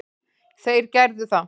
Þeir gerðu það.